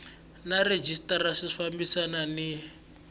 na rhejisitara swi fambelana ni